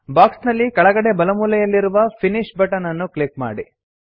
box ನಲ್ಲಿ ಕೆಳಗಡೆ ಬಲಮೂಲೆಯಲ್ಲಿರುವ ಫಿನಿಶ್ ಬಟನ್ ಅನ್ನು ಕ್ಲಿಕ್ ಮಾಡಿ